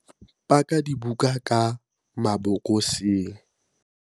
paka dibuka ka mabokoseng